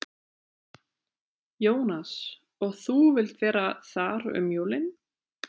Jónas: Og þú vilt vera þar um jólin?